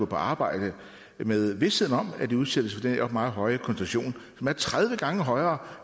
på arbejde med visheden om at de udsættes for den her meget høje koncentration som er tredive gange højere